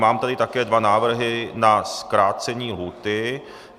Mám tady také dva návrhy na zkrácení lhůty.